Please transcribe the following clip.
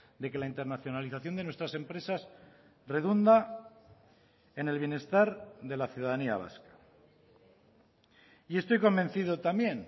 de que la internacionalización de nuestras empresas redunda en el bienestar de la ciudadanía vasca y estoy convencido también